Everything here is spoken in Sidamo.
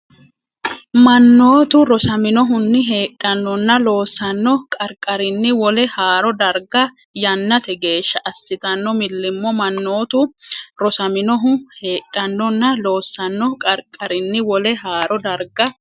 Mannotu rosaminohunni heedhannonna loossanno qarqarinni wole haaro darga yannate geeshsha assitanno millimmo Mannotu rosaminohunni heedhannonna loossanno qarqarinni wole haaro darga.